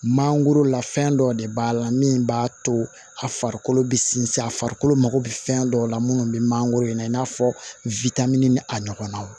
Mangoro la fɛn dɔw de b'a la min b'a to a farikolo bɛ sinsin a farikolo mako bɛ fɛn dɔw la minnu bɛ mangoro in na i n'a fɔ witamini ni a ɲɔgɔnnaw